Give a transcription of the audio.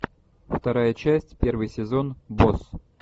вторая часть первый сезон босс